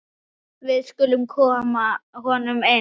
Við skulum koma honum inn!